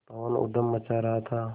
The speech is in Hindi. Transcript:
पवन ऊधम मचा रहा था